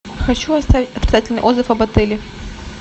хочу оставить отрицательный отзыв об отеле